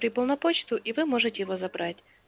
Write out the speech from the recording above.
прибыл на почту и вы можете его забрать